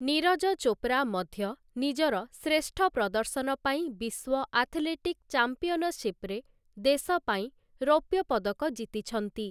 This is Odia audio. ନୀରଜ ଚୋପ୍ରା ମଧ୍ୟ ନିଜର ଶ୍ରେଷ୍ଠ ପ୍ରଦର୍ଶନ ପାଇଁ ବିଶ୍ୱ ଆଥଲେଟିକ୍ ଚାମ୍ପିଅନସିପରେ ଦେଶ ପାଇଁ ରୌପ୍ୟପଦକ ଜିତିଛନ୍ତି ।